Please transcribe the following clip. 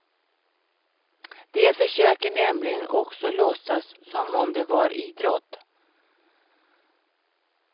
De försöker nämligen också låtsas som om det var idrott.